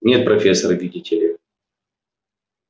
нет профессор видите ли